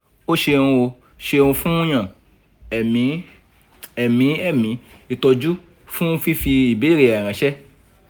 o ṣeuno ṣeun fun yan ẹ̀mí ẹ̀mí ẹ̀mí ìtọ́jú fún fífi ìbéèrè rẹ ránṣẹ́